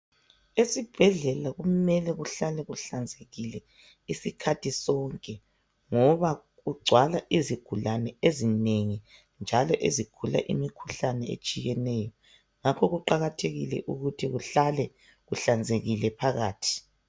Esibhedlela kumele kuhlale kuhlanzekile isikhathi sonke .Ngoba kugcwala izigulane ezinengi .Njalo ezigula imkhuhlane etshiyeneyo. Ngakho kuqakathekile ukuthi kuhlale kuhlanzekile phakathi .